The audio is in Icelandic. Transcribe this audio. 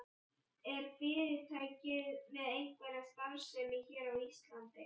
En er fyrirtækið með einhverja starfsemi hér á Íslandi?